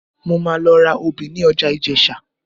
Mo máa lọ ra obì ní ọjà Ìjẹ̀sà